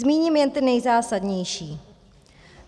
Zmíním jen ty nejzásadnější.